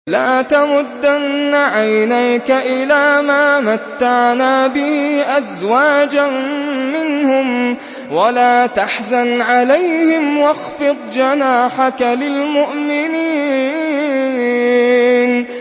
لَا تَمُدَّنَّ عَيْنَيْكَ إِلَىٰ مَا مَتَّعْنَا بِهِ أَزْوَاجًا مِّنْهُمْ وَلَا تَحْزَنْ عَلَيْهِمْ وَاخْفِضْ جَنَاحَكَ لِلْمُؤْمِنِينَ